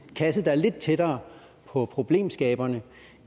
kasse der er lidt tættere på problemskaberne